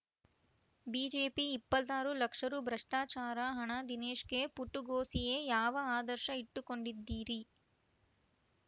BJP ಇಪ್ಪತ್ತ್ ಆರು ಲಕ್ಷ ರು ಭ್ರಷ್ಟಾಚಾರ ಹಣ ದಿನೇಶ್‌ಗೆ ಪುಟಗೋಸಿಯೇ ಯಾವ ಆದರ್ಶ ಇಟ್ಟುಕೊಂಡಿದ್ದೀರಿ